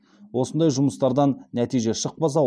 осындай жұмыстардан нәтиже шықпаса